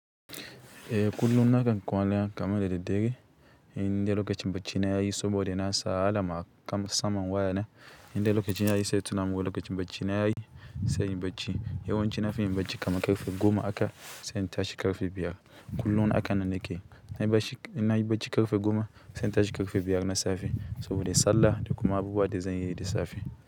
Eh kullum nakan kwana kaman da daddare in dai lokacin bacci na yayi saboda nasa alam a kan saman wayana indai lokaci yayi sai ya tunamin wai lokacin bacci na yayi sai inyi bacci. Yawan ci na fi yin bacci kaman ƙarfe goma aka sai in tashi ƙarfe biyar. Kullun akan nan nake, inna yi bacci ƙarfe goma sai in tashi ƙarfe biyar na safe sabode sallah da kuma abubuwa da zan yi da safe.